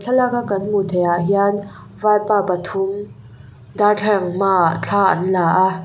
thlalak a kan hmuh theih ah hian vaipa pathum darthlalang hma ah thla an la a.